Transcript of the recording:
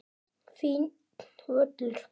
Fínn völlur.